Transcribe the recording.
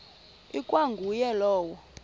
ikwa nguye lowo